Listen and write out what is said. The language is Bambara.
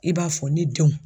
I b'a fɔ ne denw